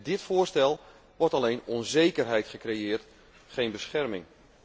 Met dit voorstel wordt alleen onzekerheid gecreëerd, geen bescherming.